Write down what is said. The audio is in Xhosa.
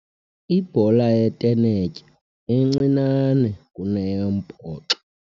Ibhola yetenetya incinane kuneyombhoxo